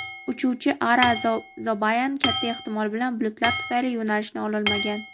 uchuvchi Ara Zobayan katta ehtimol bilan bulutlar tufayli yo‘nalishni ololmagan.